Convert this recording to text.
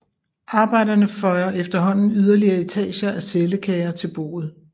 Arbejderne føjer efterhånden yderligere etager af cellekager til boet